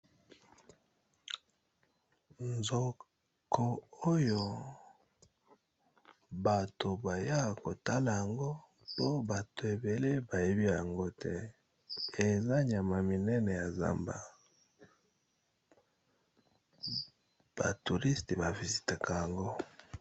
Nzoko oyo bato baya kotala yango to bato ebele ba yebi yango te eza nyama munene ya zamba . Ba touristea ba visitaka yango .